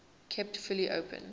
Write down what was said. kept fully open